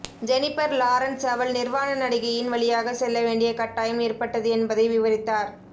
Jennifer Lawrence அவள் நிர்வாண நடிகையின் வழியாக செல்ல வேண்டிய கட்டாயம் ஏற்பட்டது என்பதை விவரித்தார்